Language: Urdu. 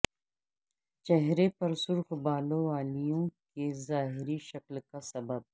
چہرے پر سرخ بالوں والیوں کی ظاہری شکل کا سبب